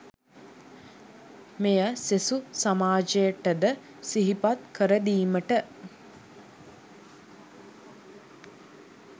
මෙය සෙසු සමාජයට ද සිහිපත් කරදීමට